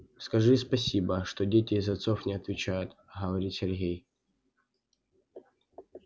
скажи спасибо что дети за отцов не отвечают говорит сергей